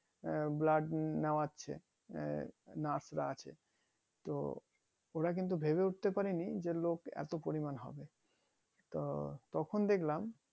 আহ blood নেয়াচ্ছে তো ওরা কিন্তু ভেবে উঠতে পারিনি যে লোক এত পরিমান হবে তো তখন দেখলাম